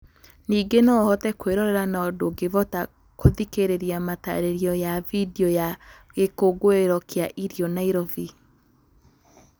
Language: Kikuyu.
Ningĩ no ũhote kwĩrorera no ndukivota kuthikĩrĩria matarĩrĩo ya video ya Gĩkũngũĩro kĩa irio Nairovi.